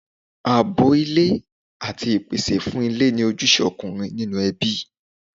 Ààbò ilé àti ìpèsè fún ilé ni ojúṣe ọkùnrin nínú ẹbí.